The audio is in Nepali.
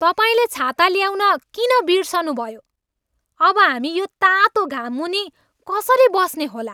तपाईँले छाता ल्याउन किन बिर्सनुभयो? अब हामी यो तातो घाममुनि कसरी बस्ने होला?